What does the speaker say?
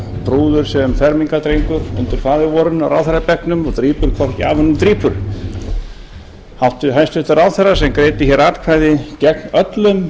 prúður sem fermingardrengur undir faðirvorinu á ráðherrabekknum og drýpur hvorki af honum né drýpur hæstvirtur ráðherra sem greiddi atkvæði gegn öllum